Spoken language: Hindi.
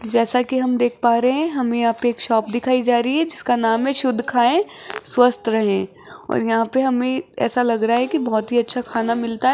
जैसा कि हम देख पा रहे हैं हमें यहां पे शॉप दिखाई जा रही है जिसका नाम है शुद्ध खाएं स्वस्थ रहे और यहां पे हमें ऐसा लग रहा है कि बहुत ही अच्छा खाना मिलता है।